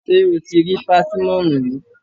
Ṣé o ti rí pásímọ̀nù rí?